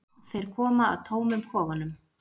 Þeir koma að tómum kofanum?